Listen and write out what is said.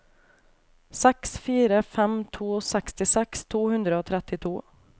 seks fire fem to sekstiseks to hundre og trettito